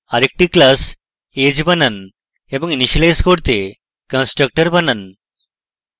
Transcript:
আরেকটি class age বানান এবং ইনিসিয়েলাইজ করতে constructor বানান